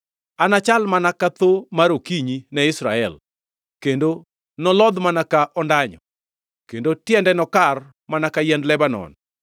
Anachal mana ka thoo mar okinyi ne Israel; kendo nolodhi mana ka ondanyo, kendo tiende nokar mana ka yiend Lebanon;